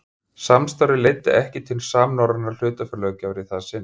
Samstarfið leiddi ekki til samnorrænnar hlutafélagalöggjafar í það sinn.